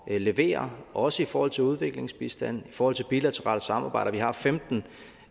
levere også i forhold til udviklingsbistand i forhold til bilaterale samarbejder vi har femten